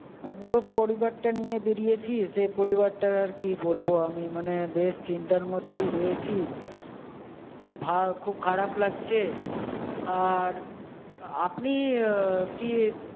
আমি পুরো পরিবারটা নিয়ে বেরিয়েছি, সে পরিবারটার আর কি বলবো আমি মানে বেশ চিন্তার মধ্যেই রয়েছি। খুব ভা খুব খারাপ লাগছে। আর আপনি আহ কি